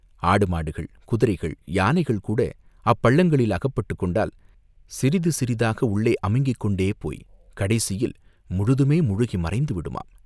ஆடுமாடுகள், குதிரைகள், யானைகள் கூட அப்பள்ளங்களில் அகப்பட்டுக் கொண்டால் சிறிது சிறிதாக உள்ளே அமுங்கிக் கொண்டே போய்க் கடைசியில் முழுதுமே முழுகி மறைந்து விடுமாம்!